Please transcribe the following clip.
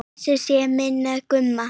Blessuð sé minning Gumma.